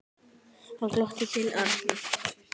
Hann glotti til Arnar.